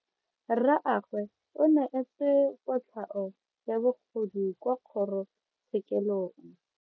Rragwe o neetswe kotlhao ya bogodu kwa kgoro tshekelong.